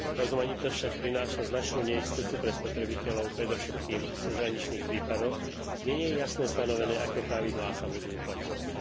Rozmanitosť však prináša značnú neistotu pre spotrebiteľov predovšetkým v cezhraničných prípadoch, kde nie je jasne stanové, aké pravidlá sa budú uplatňovať.